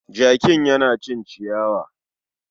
zakin ya na cin ciyawa.